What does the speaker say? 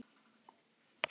Dóttir þeirra: Sædís Saga.